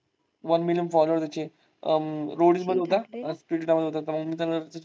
one million follower आहेत त्याचे अं roadies मध्ये होता. splitvilla मध्ये होता .